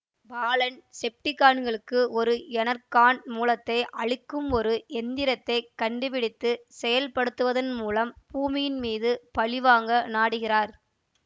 பாலன் செப்டிகான்களுக்கு ஒரு எனர்கான் மூலத்தை அளிக்கும் ஒரு இயந்திரத்தை கண்டுபிடித்து செயல்படுத்துவதன் மூலம் பூமியின் மீது பழிவாங்க நாடுகிறார்